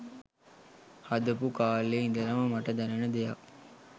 හදපු කාලෙ ඉඳලම මට දැනෙන දෙයක්